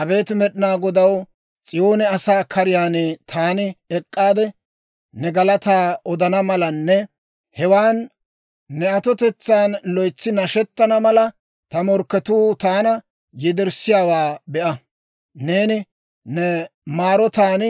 Abeet Med'inaa Godaw, S'iyoone asaa kariyaan taani ek'k'aade, Ne galataa odana malanne hewan ne atotetsaan loytsi nashettana mala, ta morkketuu taana yederssiyaawaa be'a. Neeni ne maarotaan,